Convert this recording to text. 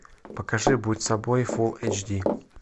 покажи будь собой фул эйч ди